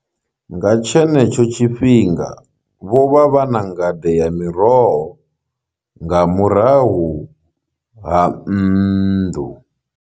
Nga tshenetsho tshifhinga vho vha vha na ngade ya miroho nga murahu ha nnḓu.